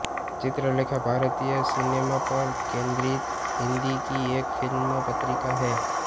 चित्रलेखा भारतीय सिनेमा पर केन्द्रित हिन्दी की एक फिल्मी पत्रिका है